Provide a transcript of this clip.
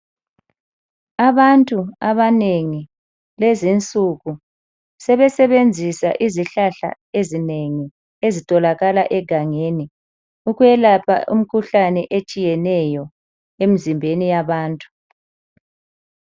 Abantu abanengi lezi nsuku sebesebenzisa izihlahla ezinengi ezitholaka egangeni ukuyelapha imikhuhlane etshiyeneyo emzimbeni yabantu.